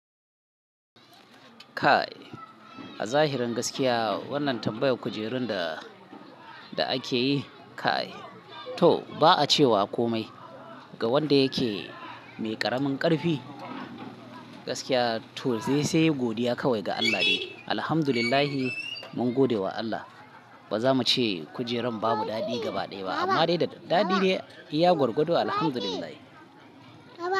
Kai a zahirin gaskiya wannan tambayar kujerun da ake yi kai to ba'a cewa komai ga wanda yake mai ƙaramin ƙarfi. Gaskiya to zai sai godiya kawai ga Allah ne. Alhamdulillah mun gode wa Allah. Ba za mu ce kujerun babu daɗi gaba ɗaya ba, amma dai da daɗi ne. Ya gargado, Alhamdulillah. Baba!